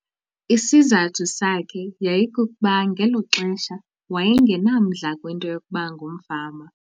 Isizathu sakhe yayikukuba ngelo xesha waye ngenamdla kwinto yokuba ngumfama.